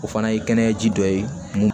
O fana ye kɛnɛya ji dɔ ye mun